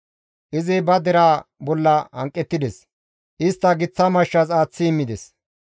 Izi ba deraa bolla hanqettides; istta giththa mashshas aaththi immides.